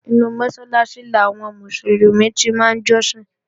Inú Mọ́sálásí làwọn Mùsùlùmí ti máa ń jọ́sìn